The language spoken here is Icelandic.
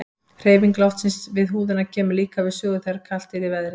Hreyfing loftsins við húðina kemur líka við sögu þegar kalt er í veðri.